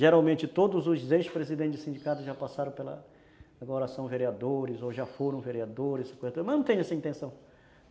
Geralmente todos os ex-presidentes do sindicato já passaram pela... agora são vereadores ou já foram vereadores, mas eu não tenho essa intenção.